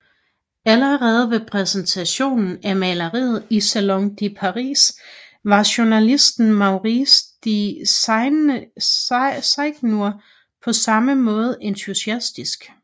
Allerede ved præsentationen af maleriet i Salon de Paris var journalisten Maurice de Seigneur på samme måde entusiastisk